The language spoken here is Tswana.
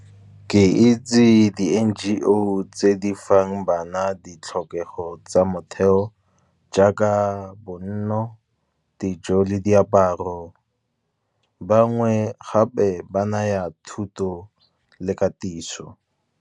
Ke itse di N_G_O tse di fang bana ditlhokego tsa motheo, jaaka bonno dijo le diaparo, bangwe gape ba naya thuto le katiso.